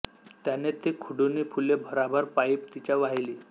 त्यानें ती खुडुनी फुलें भरभरा पायीं तिच्या वाहिलीं